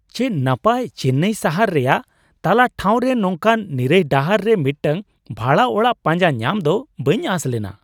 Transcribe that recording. ᱪᱮᱫ ᱱᱟᱯᱟᱭ ! ᱪᱮᱱᱱᱟᱭ ᱥᱟᱦᱟᱨ ᱨᱮᱭᱟᱜ ᱛᱟᱞᱟ ᱴᱷᱟᱶ ᱨᱮ ᱱᱚᱝᱠᱟᱱ ᱱᱤᱨᱟᱹᱭ ᱰᱟᱦᱟᱨ ᱨᱮ ᱢᱤᱫᱴᱟᱝ ᱵᱷᱟᱲᱟ ᱚᱲᱟᱜ ᱯᱟᱸᱡᱟ ᱧᱟᱢ ᱫᱚ ᱵᱟᱹᱧ ᱟᱸᱥ ᱞᱮᱱᱟ ᱾